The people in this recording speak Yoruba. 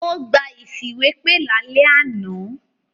Ó gba ìfìwépè lálẹ́ àná.